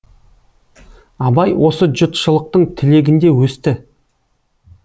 абай осы жұртшылықтың тілегінде өсті